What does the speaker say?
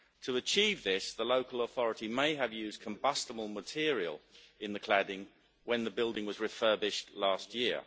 To achieve this, the local authority may have used combustible material in the cladding when the building was refurbished last year.